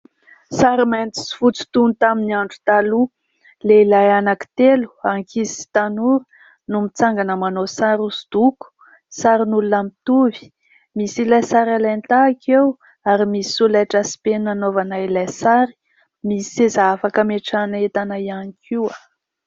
Sary mainty sy fotsy toy ny tamin'ny andro taloha. Lehilahy anankitelo: ankizy sy tanora, no mitsangana manao sary hosodoko; sarin'olona mitovy, misy ilay sary alain-tahaka eo ary misy solaitra sy penina anaovana ilay sary. Misy seza afaka ametrahana entana ihany koa.